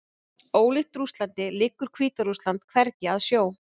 Ólíkt Rússlandi liggur Hvíta-Rússland hvergi að sjó.